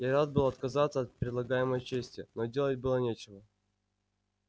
я рад был отказаться от предлагаемой чести но делать было нечего